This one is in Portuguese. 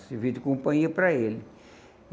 Servia de companhia para ele.